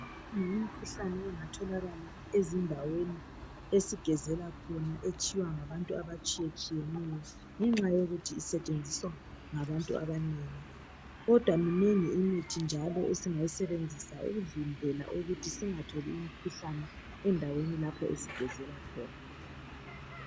Imikhuhlane engatholaka ezindaweni esigezela khona etshiywa ngabantu abatshiyetshiyeneyo ngenxa yokuthi iseentshenziswa ngabantu abanengi kodwa iminengi imithi njalo esingayisebenzisa ukuvimbela ukuthi singatholi imikhuhlane endaweni lapho esigezela khona